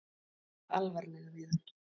Tala alvarlega við hann.